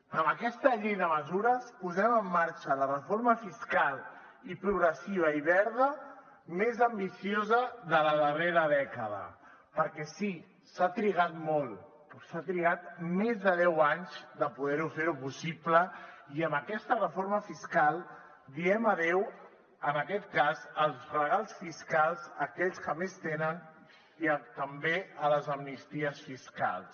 amb aquesta llei de mesures posem en marxa la reforma fiscal i progressiva i verda més ambiciosa de la darrera dècada perquè sí s’ha trigat molt s’ha trigat més de deu anys per poder fer ho possible i amb aquesta reforma fiscal diem adeu en aquest cas als regals fiscals a aquells que més tenen i també a les amnisties fiscals